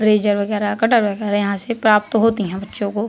Eraser वगैरा cutter वगैरा यहां से प्राप्त होती हैं बच्चों को।